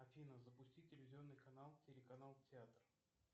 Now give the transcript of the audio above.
афина запусти телевизионный канал телеканал театр